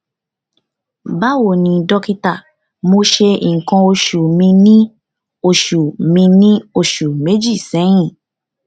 báwo ni dọkítà mo ṣe nǹkan oṣù mi ní oṣù mi ní oṣù méjì sẹyìn